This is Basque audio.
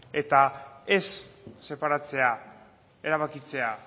eta ez separatzea erabakitzea